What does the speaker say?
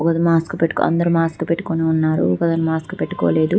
ఒకతను మాస్క్ పెట్టుకుని అందరూ మాస్క్ పెట్టుకుని ఉన్నారు ఒకతను మాస్క్ పెట్టుకోలేదు